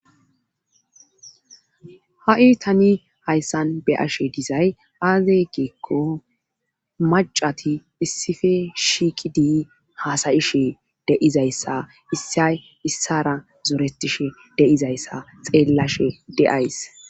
ha'i tani hayssan be'ashe dizay aaze giikko macati issife shiqidii haasa'ishe de'izayssa issay issara zoretishe de'izayssa xeellashe de'ays